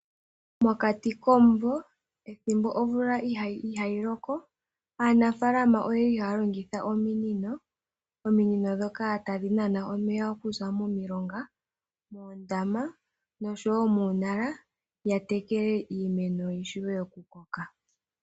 Mokati komumvo, pethimbo omvula itaa yi loko, aanafaalama oye li haa longitha ominino. Ominino ndhoka tadhi nana omeya okuza momilonga, moondama nosho wo muunala, ya tekele iimeno yi vule okukoka.